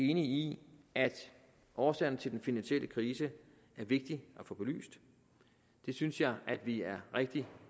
enig i at årsagerne til den finansielle krise er vigtige at få belyst det synes jeg vi er rigtig